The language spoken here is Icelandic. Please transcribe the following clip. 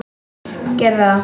Gerðu það: